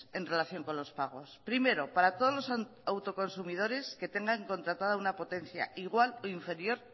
en relación con los pagos primero para todos los autoconsumidores que tengan contratada una potencia igual o inferior